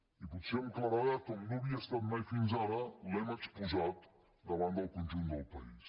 i potser amb claredat com no havia estat mai fins ara l’hem exposat davant del conjunt del país